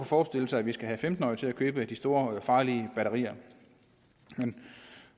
forestille sig at vi skal have femten årige til at købe de store farlige batterier men